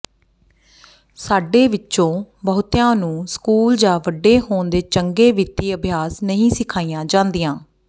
ਸਾਡੇ ਵਿੱਚੋਂ ਬਹੁਤਿਆਂ ਨੂੰ ਸਕੂਲ ਜਾਂ ਵੱਡੇ ਹੋਣ ਦੇ ਚੰਗੇ ਵਿੱਤੀ ਅਭਿਆਸ ਨਹੀਂ ਸਿਖਾਈਆਂ ਜਾਂਦੀਆਂ